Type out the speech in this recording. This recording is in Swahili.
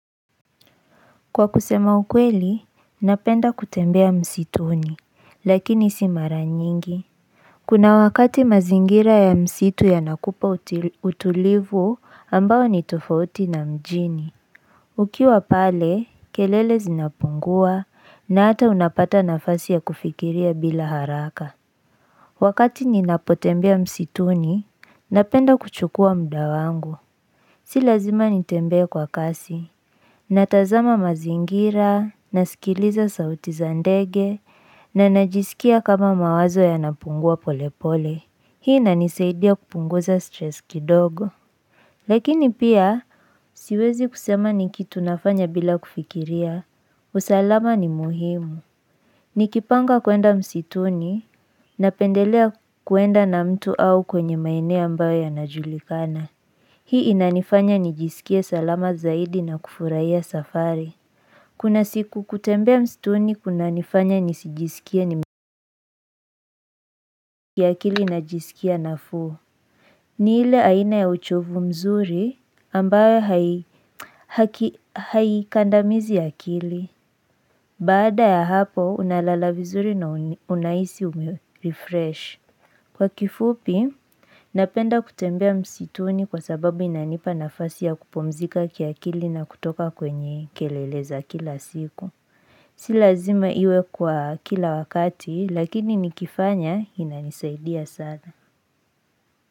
Kwa kusema ukweli, napenda kutembea msituni, lakini simara nyingi Kuna wakati mazingira ya msitu ya nakupa utulivu ambao ni tofauti na mjini Ukiwa pale, kelele zinapungua na ata unapata nafasi ya kufikiria bila haraka Wakati ninapotembea msituni, napenda kuchukua mda wangu Si lazima nitembee kwa kasi Natazama mazingira, nasikiliza sauti zandege, na najisikia kama mawazo ya napungua pole pole. Hii ina nisaidia kupunguza stress kidogo. Lakini pia, siwezi kusema ni kitu nafanya bila kufikiria, usalama ni muhimu. Nikipanga kuenda msituni, na pendelea kuenda na mtu au kwenye maeneo ambayo ya najulikana. Hii inanifanya nijisikie salama zaidi na kufuraia safari. Kuna siku kutembea msituni kuna nifanya nisijisikie ni mziki ya kili na jisikia na fuu. Ni ile aina ya uchovu mzuri ambayo haikandamizi akili. Baada ya hapo unalala vizuri na unaisi umerefresh. Kwa kifupi, napenda kutembea msituni kwa sababu inanipa nafasi ya kupumzika kia kili na kutoka kwenye keleleza kila siku. Silazima iwe kwa kila wakati lakini nikifanya inanisaidia sana.